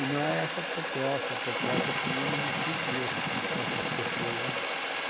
E não é essa a proposta, a proposta que unifique essas essas pessoas, né.